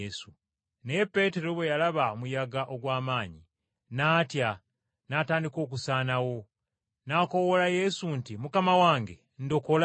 Naye Peetero bwe yalaba omuyaga ogw’amaanyi, n’atya n’atandika okusaanawo, n’akoowoola Yesu nti, “Mukama wange, ndokola!”